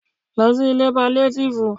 Lọ sí ilé paliatifu!